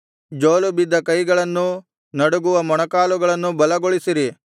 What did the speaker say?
ಜೋಲುಬಿದ್ದ ಕೈಗಳನ್ನೂ ನಡುಗುವ ಮೊಣಕಾಲುಗಳನ್ನೂ ಬಲಗೊಳಿಸಿರಿ